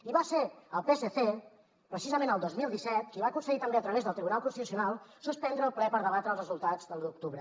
i va ser el psc precisament el dos mil disset qui va aconseguir també a través del tribunal constitucional suspendre el ple per debatre els resultats de l’u d’octubre